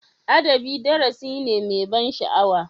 Adabi darasi ne mai ban sha'awa.